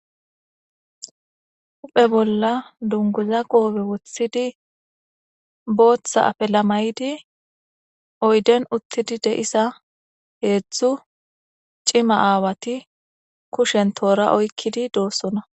Uphe bolla dunguza qoobe woththidi booththa afelamaydi oyden uttidi de7isa heedzdzu cima aawati kushen toora oykkidi doossona.